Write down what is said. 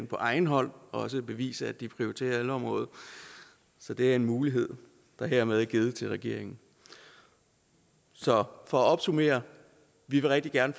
på egen hånd bevise at de prioriterer ældreområdet så det er en mulighed der hermed er givet til regeringen så for at opsummere vi vil rigtig gerne